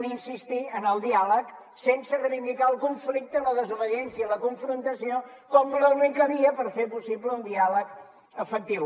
adiàleg sense reivindicar el conflicte la desobediència i la confrontació com l’única via per fer possible un diàleg efectiu